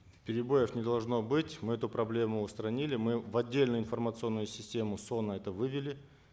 перебоев не должно быть мы эту проблему устранили мы в отдельную информационную систему соно это вывели